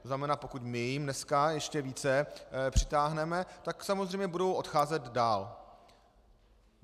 To znamená, pokud my je dnes ještě více přitáhneme, tak samozřejmě budou odcházet dál.